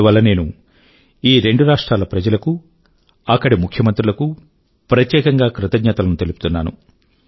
అందువల్ల నేను ఈ రెండు రాష్ట్రాల ప్రజలకూ అక్కడి ముఖ్యమంత్రులకూ ప్రత్యేకం గా కృతజ్ఞతల ను తెలుపుతున్నాను